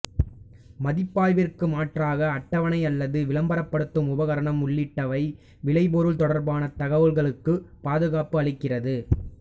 மதிப்பாய்விற்கு மாற்றாக அட்டவணை அல்லது விளம்பரப்படுத்தும் உபகரணம் உள்ளிட்டவை விளைபொருள் தொடர்பான தகவல்களுக்குப் பாதுகாப்பு அளிக்கிறது